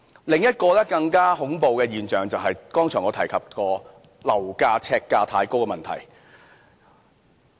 另一個更加恐怖的現象，便是我剛才提及過樓價、呎價太高的問題。